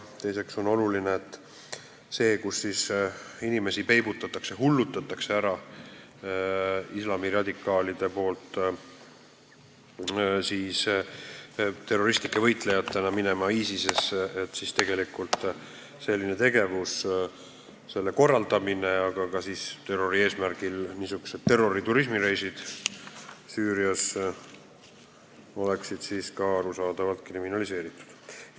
Teiseks on oluline, et selline tegevus ja selle korraldamine, kus islamiradikaalid hullutavad inimesi, peibutavad neid terroristlike võitlejatena ISIS-esse minema, aga ka terrori eesmärgil tehtavad turismireisid Süüriasse oleks arusaadavalt kriminaliseeritud.